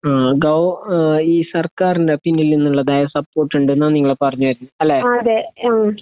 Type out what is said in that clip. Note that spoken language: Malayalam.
ആ ഗവ ഏഹ് ഈ സർക്കാരിന്റെ പിന്നിൽ നിന്ന്ള്ളതായ സപ്പോർട്ട്ണ്ട് ന്നാ നിങ്ങൾ പറഞ്ഞ് വരുന്നേ അല്ലെ